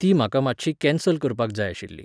ती म्हाका मातशी कॅन्सल करपाक जाय आशिल्ली.